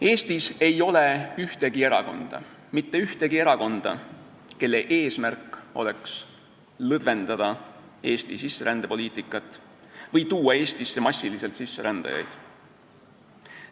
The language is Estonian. Eestis ei ole ühtegi erakonda – mitte ühtegi erakonda –, kelle eesmärk oleks lõdvendada Eesti sisserändepoliitikat või tuua Eestisse massiliselt sisserändajaid.